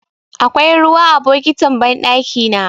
Akwai ruwa a bokitin banɗakina.